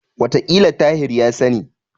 Wataƙila Tahir ya sani.